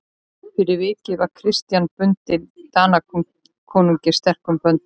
Fyrir vikið var Christian bundinn Danakonungi sterkum böndum.